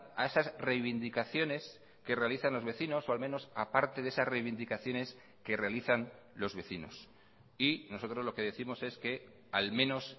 a esas reivindicaciones que realizan los vecinos o al menos aparte de esas reivindicaciones que realizan los vecinos y nosotros lo que décimos es que al menos